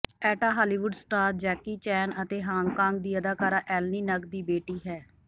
ਐਟਾ Hollywood star Jackie Chan ਅਤੇ Hong Kong ਦੀ ਅਦਾਕਾਰਾ ਐਲਨੀ ਨਗ ਦੀ ਬੇਟੀ ਹੈ